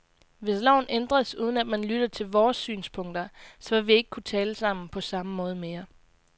Hvis loven ændres, uden at man lytter til vores synspunkter, så vil vi ikke kunne tale sammen på samme måde mere.